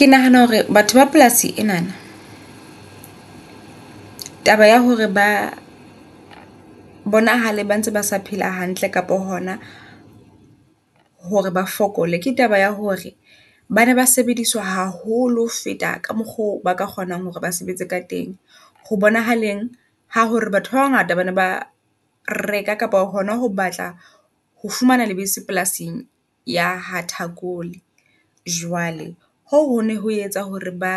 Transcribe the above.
Ke nahana hore batho ba polasi enana taba ya hore ba bonahale ba ntse ba sa phela hantle kapo hona hore ba fokole. Ke taba ya hore bana ba sebediswa haholo ho feta ka mokgo ba ka kgonang hore ba sebetse ka teng. Ho bonahalang ha hore batho ba bangata bane ba reka kapa hona ho batla ho fumana lebese polasing ya ha Thakole. Jwale ho ho ne ho etsa hore ba